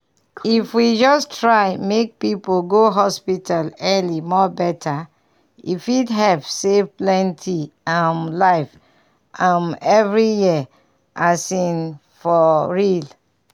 if we just try make people go hospital early more better e fit help save plenty um life um every year as in for real.